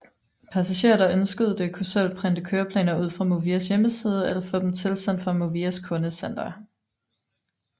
Passagerer der ønskede det kunne selv printe køreplaner ud fra Movias hjemmeside eller få dem tilsendt fra Movias kundecenter